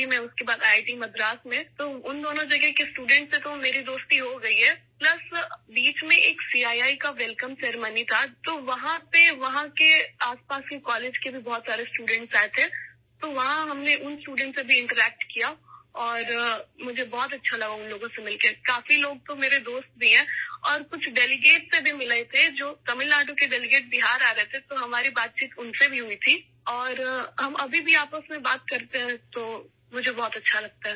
اس کے بعد I I T Madras میں، ان دونوں جگہوں کے طلبا سے میری دوستی ہوگئی، اس کے علاوہ درمیان میں سی آئی آئی کی ایک استقبالیہ تقریب تھی، تو قریب کے کالجوں سے بھی کافی طلبا موجود تھے ، طالب علم آئے تھے تو وہاں ہم نے ان طلباء سے بھی بات چیت کی اور مجھے ان سے مل کر بہت خوشی محسوس ہوئی، ان میں سے بہت سے میرے دوست بھی ہیں اور تمل ناڈو سے بہار آنے والے کچھ مندوبین سے بھی ملاقات کی، تو ہم نے ان کے ساتھ بھی بات چیت کی اور ہم اب بھی ایک دوسرے سے بات کرتے ہیں، اس لیے میں بہت خوش ہوں